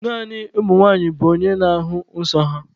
Naanị nwanyị bụ onye na-ahụ nsọ ya.